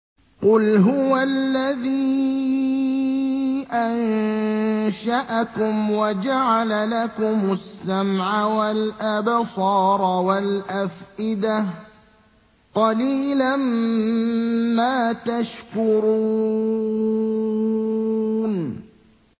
قُلْ هُوَ الَّذِي أَنشَأَكُمْ وَجَعَلَ لَكُمُ السَّمْعَ وَالْأَبْصَارَ وَالْأَفْئِدَةَ ۖ قَلِيلًا مَّا تَشْكُرُونَ